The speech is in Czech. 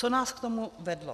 Co nás k tomu vedlo?